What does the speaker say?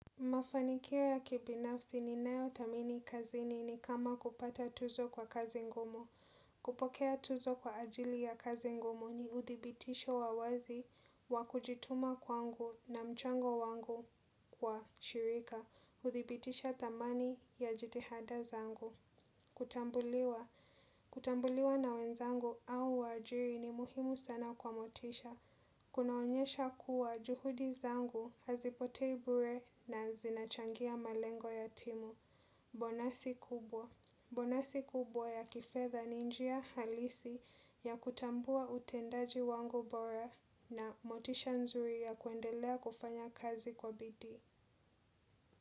Mafanikio ya kibinafsi ninayo thamini kazini ni kama kupata tuzo kwa kazi ngumu. Kupokea tuzo kwa ajili ya kazi ngumu ni uthibitisho wa wazi wa kujituma kwangu na mchango wangu kwa shirika. Hudhibitisha thamani ya jitihada zangu kutambuliwa. Kutambuliwa na wenzangu au waajiri ni muhimu sana kwa motisha. Kunaonyesha kuwa juhudi zangu hazipotei bure na zinachangia malengo ya timu. Bonasi kubwa bonasi kubwa ya kifedha ni njia halisi ya kutambua utendaji wangu bora. Na motisha nzuri ya kuendelea kufanya kazi kwa bidii.